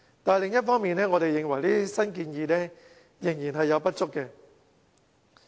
但是，另一方面，我們認為這些新建議仍不足。